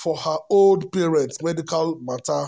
for her old parents medical matter.